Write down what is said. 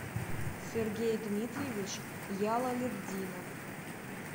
сергей дмитриевич ялалетдинов